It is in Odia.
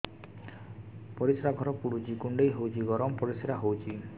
ପରିସ୍ରା ଘର ପୁଡୁଚି କୁଣ୍ଡେଇ ହଉଚି ଗରମ ପରିସ୍ରା ହଉଚି